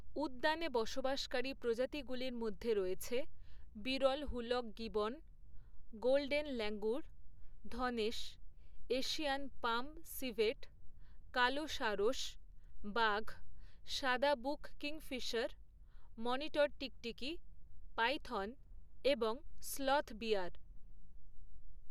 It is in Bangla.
উদ্যানে বসবাসকারী প্রজাতিগুলির মধ্যে রয়েছে বিরল হুলক গিবন, গোল্ডেন ল্যাঙ্গুর, ধনেশ, এশিয়ান পাম সিভেট, কালো সারস, বাঘ, সাদা বুক কিংফিশার, মনিটর টিকটিকি, পাইথন এবং স্লথ বিয়ার।